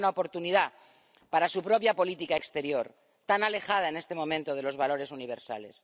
Es una buena oportunidad para su propia política exterior, tan alejada en este momento de los valores universales.